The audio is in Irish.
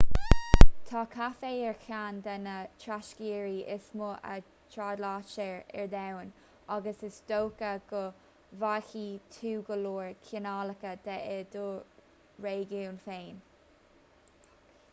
tá caife ar cheann de na tráchtearraí is mó a thrádáiltear ar domhan agus is dócha go bhfaighidh tú go leor cineálacha de i do réigiún féin